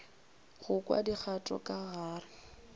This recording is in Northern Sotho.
go kwa dikgato ka gare